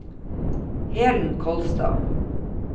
Helen Kolstad